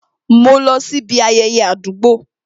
Mo lọ sí ibi ayẹyẹ àdúgbò